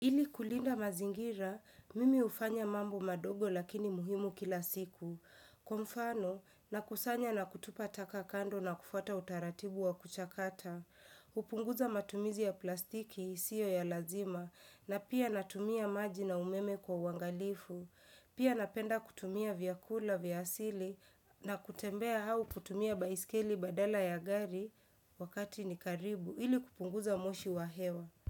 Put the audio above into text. Ili kulinda mazingira, mimi hufanya mambo madogo lakini muhimu kila siku. Kwa mfano, nakusanya na kutupa taka kando na kufuata utaratibu wa kuchakata. Hupunguza matumizi ya plastiki isiyo ya lazima, na pia natumia maji na umeme kwa uangalifu. Pia napenda kutumia vyakula vya asili, na kutembea au kutumia baiskeli badala ya gari wakati ni karibu, ili kupunguza moshi wa hewa.